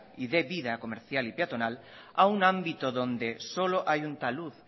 y dé vida comercial y peatonal a un ámbito donde solo hay un talud